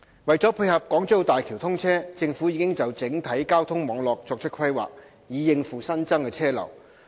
為配合港珠澳大橋通車，政府已就整體交通網絡作出規劃，以應付新增車流。